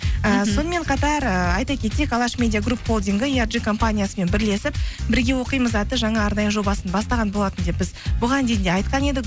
ііі сонымен қатар ыыы айта кетейік алаш медиагрупп холдингі компаниясымен бірлесіп бірге оқимыз атты жаңа арнайы жобасын бастаған болатын деп біз бұған дейін де айтқан едік